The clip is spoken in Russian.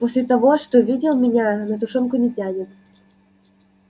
после того что видел меня на тушёнку не тянет